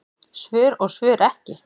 Svör og svör ekki.